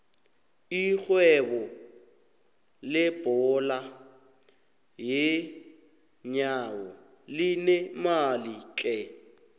irhwebo lebhola yeenyawo linemali tlhe